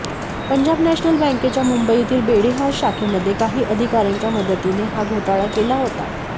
Punjab national बँकेच्या मुंबईतील Brady house शाखेमध्ये काही अधिकाऱयांच्या मदतीने हा घोटाळा केला होता